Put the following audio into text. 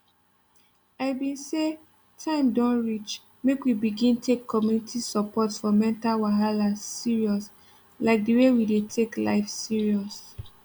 i been say time don reach make we begin take community support for mental wahala serious like the way we dey take life serious